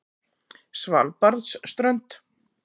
Svalbarðsströnd